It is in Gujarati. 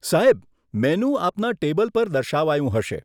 સાહેબ, મેનુ આપના ટેબલ પર દર્શાવાયું હશે.